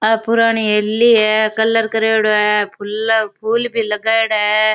ये पुराणी हवेली है कलर करेडो है फूल फूल भी लगायेड़ो है।